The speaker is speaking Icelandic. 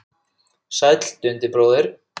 Sæll Dundi bróðir!